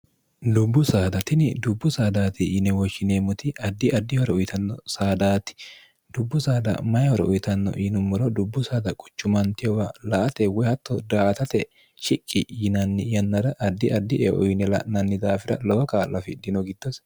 dubbu saadatini dubbu saadaati yine woshshineemmoti addi addihoro uyitanno saadaati dubbu saada mayi horo uyitanno iinummoro dubbu saada quchumantiowa la ate woy hatto daatate shiqqi yinanni yannara addi addi eo yine la'nanni daafira lowo kaa'la fidino gittose